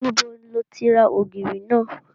Níbo lo ti ra ògìrì náà?